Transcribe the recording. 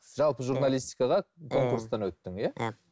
жалпы журналистикаға конкурстан өттің иә иә